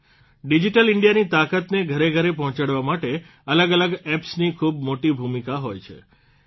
digital ઇન્ડિયાની તાકાતને ઘરે ઘરે પહોંચાડવા માટે અલગ અલગ એપ્સની ખૂબ મોટી ભૂમિકા હોય છે